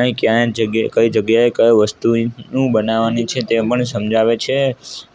અહીં ક્યાં જગ્યે કઈ જગ્યાએ કઈ વસ્તુની હું બનવાનું છે તે પણ સમજાવે છે